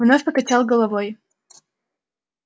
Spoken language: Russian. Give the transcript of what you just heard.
вновь покачал головой